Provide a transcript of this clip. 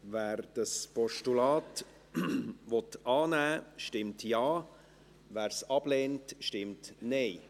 Wer dieses Postulat annehmen will, stimmt Ja, wer es ablehnt, stimmt Nein.